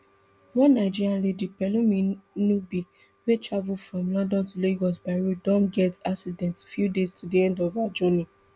one nigerian lady pelumi nubi wey dey travel from london to lagos by road don get accident few days to di end of her journey